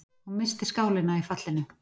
Hún missti skálina í fallinu.